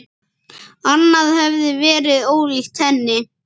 Annað hefði verið ólíkt henni.